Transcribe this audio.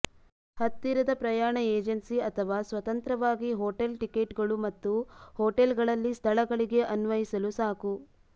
ಹತ್ತಿರದ ಪ್ರಯಾಣ ಏಜೆನ್ಸಿ ಅಥವಾ ಸ್ವತಂತ್ರವಾಗಿ ಹೋಟೆಲ್ ಟಿಕೆಟ್ಗಳು ಮತ್ತು ಹೋಟೆಲ್ಗಳಲ್ಲಿ ಸ್ಥಳಗಳಿಗೆ ಅನ್ವಯಿಸಲು ಸಾಕು